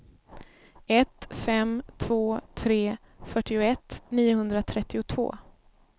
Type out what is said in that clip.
ett fem två tre fyrtioett niohundratrettiotvå